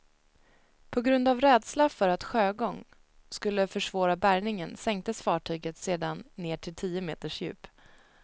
På grund av rädsla för att sjögång skulle försvåra bärgningen sänktes fartyget sedan ned till tio meters djup.